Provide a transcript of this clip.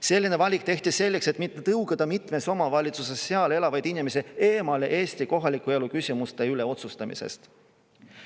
Selline valik tehti selleks, et mitte tõugata mitmes omavalitsuses elavaid inimesi eemale Eesti kohaliku elu küsimuste üle otsustamisest.